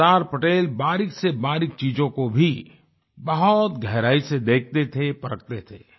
सरदार पटेल बारीक़सेबारीक़ चीजों को भी बहुत गहराई से देखते थे परखते थे